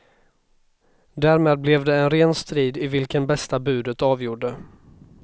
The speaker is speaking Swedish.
Därmed blev det en ren strid i vilken bästa budet avgjorde.